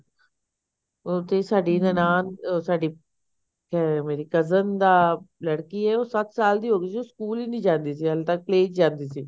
ਉੱਥੇ ਸਾਡੀ ਨਨਾਣ ਸਾਡੀ ਅਹ ਮੇਰੀ cousin ਦਾ ਲੜਕੀ ਆਈ ਉਹ ਸੱਤ ਸਾਲ ਦੀ ਹੋ ਗਈ ਸੀ ਉਹ ਸਕੂਲ ਹੀ ਨੀ ਜਾਂਦੀ ਸੀ ਹਲੇ ਤੱਕ play ਚ ਹੀ ਜਾਂਦੀ ਸੀ